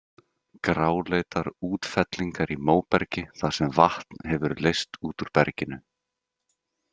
Gráleitar útfellingar í móbergi þar sem vatn hefur leyst út úr berginu.